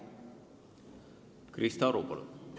Krista Aru, palun!